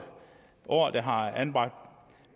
år der har et anbragt